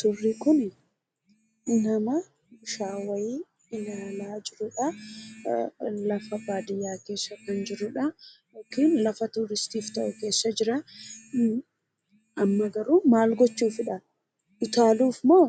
Suurri kuni nama shaaworii ilaalaa jirudhaa. Lafa Baadiyyaa keessa kan jiru yookiin lafa turistiif ta'u keesa jira. amma garuu maal gochuufidha utaaluufmoo